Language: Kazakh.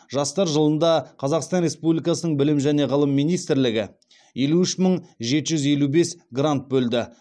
жастар жылында қазақстан республикасының білім және ғылым министрлігі елу үш мың жеті жүз елу бес грант бөлді